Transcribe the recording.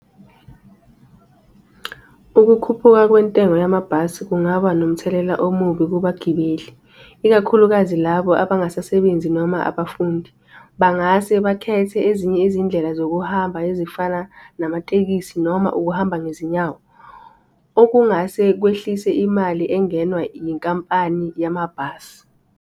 Ukukhuphuka kwentengo yamabhasi kungaba nomthelela omubi kubagibeli, ikakhulukazi labo abangasebenzi noma abafundi. Bangase bakhethe ezinye izindlela zokuhamba ezifana namatekisi noma ukuhamba ngezinyawo. Okungase kwehlise imali engenwa inkampani yamabhasi.